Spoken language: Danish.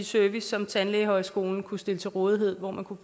service som tandlægeskolen kunne stille til rådighed for ham